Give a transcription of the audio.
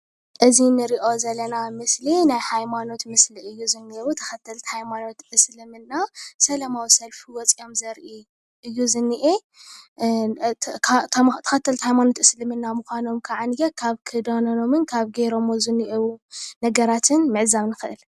እዚ ንሪኦ ዘለና ምስሊ ናይ ሃይማኖት ምስሊ እዩ፡፡ ዝኒህው ተከተልቲ ሃይማኖት እስልምና ስላማዊ ሰልፊ ወፅዮም ዘርኢ እዩ ዝኒሄ ተከተልቲ ሃይማኖት እስልምና ምካኖም ከዓኒየ ካብ ክዳኖም ካብ ገይሮምዎ ዝኒህው ነገራትን ምዕዛብ ንክእል፡፡